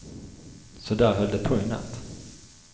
Så där höll det på i natt.